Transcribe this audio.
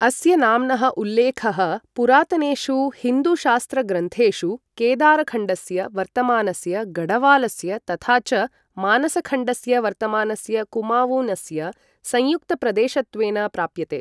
अस्य नाम्नः उल्लेखः पुरातनेषु हिन्दूशास्त्रग्रन्थेषु केदारखण्डस्य वर्तमानस्य गढ़वालस्य तथा च मानसखण्डस्य वर्तमानस्य कुमावूनस्य संयुक्तप्रदेशत्वेन प्राप्यते।